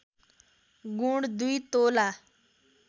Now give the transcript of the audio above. गुण २ तोला